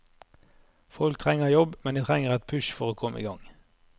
Folk trenger jobb, men de trenger et push for å komme i gang.